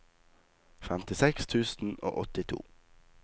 femtiseks tusen og åttito